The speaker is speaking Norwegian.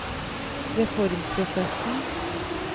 reformprosessen